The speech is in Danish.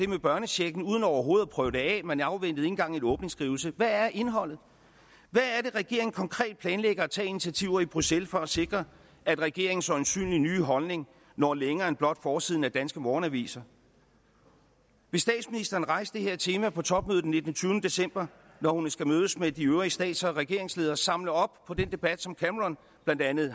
med børnechecken uden overhovedet at prøve det af man afventede ikke engang en åbningsskrivelse hvad er indholdet hvad er det regeringen konkret planlægger at tage af initiativer i bruxelles for at sikre at regeringens øjensynlige nye holdning når længere end blot forsiderne af danske morgenaviser vil statsministeren rejse det her tema på topmødet den nittende tyve december når hun skal mødes med de øvrige stats og regeringsledere altså samle op på den debat som blandt andet